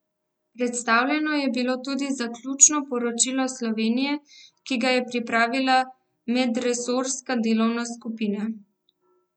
Predstavljeno je bilo tudi zaključno poročilo Slovenije, ki ga je pripravila medresorska delovna skupina.